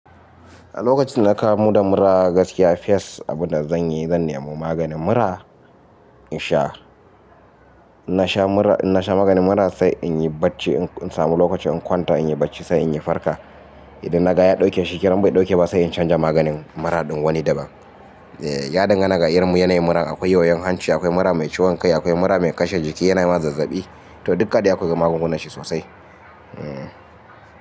A lokacin dana ka mu da mura gaskiya fes abinda zanyi zan nemi maganin mura in sha. In na sha mura, in na sha maganin mura sai inyi bacci in samu lokaci in kwanta inyi bacci sai inyi farka. Idan naga ya dauke shikken in bai dauke ba sai in canza maganin mura din wani daban. Eh ya dinga na da irrin yana yi mura akwai wayoyin hanci, akwai mura mai ciwon kai, akwai mura mai kashe jiki yana yi ma zazzabi. To duka dai akwai magungunan shi sosai. Hmm.